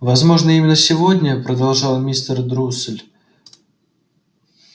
возможно именно сегодня продолжал мистер друсль